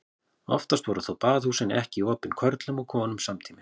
Oftast voru þó baðhúsin ekki opin körlum og konum samtímis.